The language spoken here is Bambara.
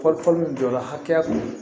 Fɔli fɔli min jɔ la hakɛya min